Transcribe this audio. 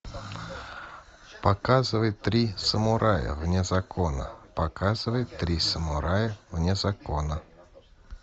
показывай три самурая вне закона показывай три самурая вне закона